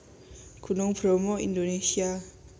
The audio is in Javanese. Gunung Bromo id